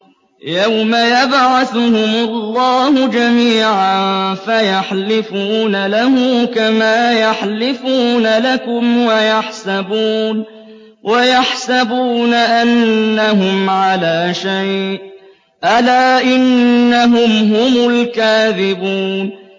يَوْمَ يَبْعَثُهُمُ اللَّهُ جَمِيعًا فَيَحْلِفُونَ لَهُ كَمَا يَحْلِفُونَ لَكُمْ ۖ وَيَحْسَبُونَ أَنَّهُمْ عَلَىٰ شَيْءٍ ۚ أَلَا إِنَّهُمْ هُمُ الْكَاذِبُونَ